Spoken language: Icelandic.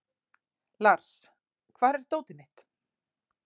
Lars, hvar er dótið mitt?